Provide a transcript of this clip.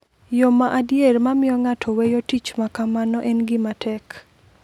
Yo ma adier ma miyo ng’ato weyo tich ma kamano en gima tek.